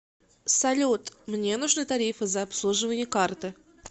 салют мне нужны тарифы за обслуживание карты